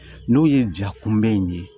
N'o ye jakunbɛn in ye